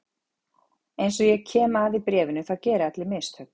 Eins og ég kem að í bréfinu þá gera allir mistök.